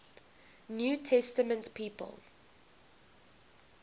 new testament people